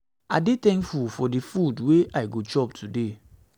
i dey thankful for di food wey i go chop today